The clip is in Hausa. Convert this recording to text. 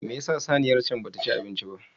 Me yasa saniyar can bata ci abinci ba?